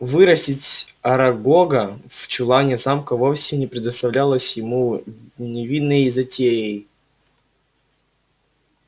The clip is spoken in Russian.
вырастить арагога в чулане замка вовсе не представлялось ему невинной затеей